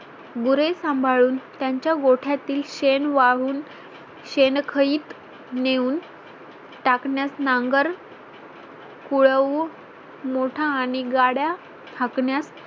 गुरे सांभाळून त्यांच्या गोठ्या तील शेण वाहून शेणखईत नेऊन टाकण्यात नांगर कुळवू मोठा आणि गाड्या हाकण्यात